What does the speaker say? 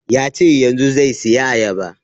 Ya ce yanzun zai saya ayaba